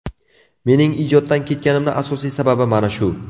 Mening ijoddan ketganimni asosiy sababi mana shu.